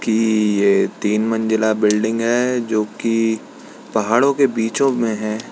की ये तीन मंजिला बिल्डिंग है जो कि पहाड़ों के बीचो में हैं।